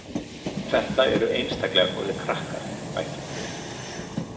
Þetta eru einstaklega góðir krakkar, bætti hún við.